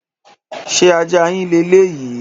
Ṣé ajá yín le léyìí?